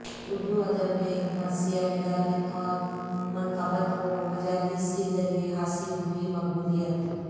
اردو ادب میں مرثیہ نگاری اور منقبت کو مجالس کے ذریعہ حاصل ہوئی مقبولیت